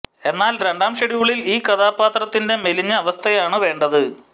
എന്നാൽ രണ്ടാം ഷെഡ്യൂളിൽ ഈ കഥാപാത്രത്തിന്റെ മെലിഞ്ഞ അവസ്ഥയാണ് വേണ്ടത്